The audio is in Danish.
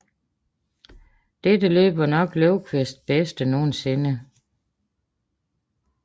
Dette løb var nok Lövkvists bedste nogensinde